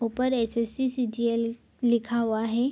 ऊपर SSC. CGL. लिखा हुआ है।